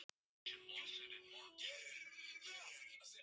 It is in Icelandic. Simmi, hversu margir dagar fram að næsta fríi?